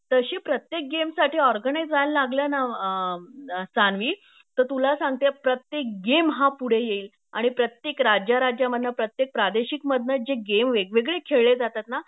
तशी प्रत्येक गेमसाठी ऑरगनाईझ व्हायलागल्या ना सान्वी तर तुला सांगते प्रत्येक गेम हा पुढे येईल आणि प्रत्येक राज्याराज्यामधन प्रत्येक प्रादेशिकमधन जे गेम वेगवेगळे खेळले जातात ना